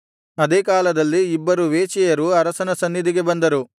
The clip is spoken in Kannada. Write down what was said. ಅದೇ ಕಾಲದಲ್ಲಿ ಇಬ್ಬರು ವೇಶ್ಯೆಯರು ಅರಸನ ಸನ್ನಿಧಿಗೆ ಬಂದರು